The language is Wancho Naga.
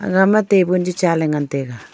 aga ma table chi cha ley ngan tai a.